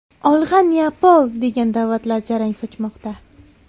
Olg‘a, Neapol!” degan da’vatlar jarang sochmoqda.